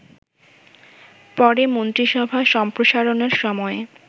পরে মন্ত্রিসভা সম্প্রসারণের সময়ে